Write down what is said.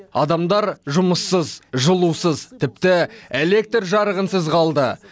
адамдар жұмыссыз жылусыз тіпті электр жарығынсыз қалды